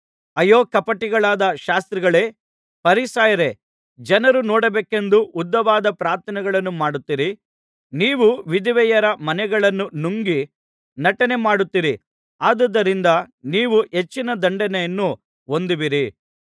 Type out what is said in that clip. ಅಯ್ಯೋ ಕಪಟಿಗಳಾದ ಶಾಸ್ತ್ರಿಗಳೇ ಫರಿಸಾಯರೇ ಜನರು ನೋಡಬೇಕೆಂದು ಉದ್ದವಾದ ಪ್ರಾರ್ಥನೆಗಳನ್ನು ಮಾಡುತ್ತೀರೀ ನೀವು ವಿಧವೆಯರ ಮನೆಗಳನ್ನು ನುಂಗಿ ನಟನೆಮಾಡುತ್ತೀರಿ ಆದುದರಿಂದ ನೀವು ಹೆಚ್ಚಿನ ದಂಡನೆಯನ್ನು ಹೊಂದುವಿರಿ